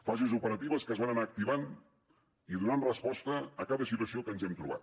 fases operatives que es van anar activant i donant resposta a cada situació que ens hem trobat